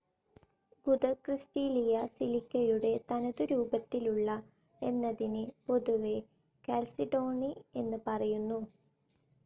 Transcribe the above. ഗുദക്രിസ്റ്റീലിയ സിലിക്കയുടെ തനതുരൂപത്തിലുള്ള എന്നതിന് പൊതുവെ കാൽസിഡോണി എന്ന് പറയുന്നു.